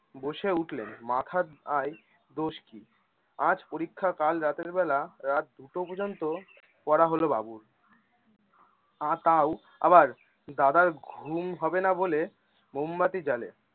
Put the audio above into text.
বসে উঠলে মাথার আর দোষ কি? আজ পরীক্ষা কাল রাতের বেলা রাত দুটো পর্যন্ত পড়া হলো বাবুর আহ তাউ আবার দাদার ঘুম হবে না বলে মোমবাতি জ্বালে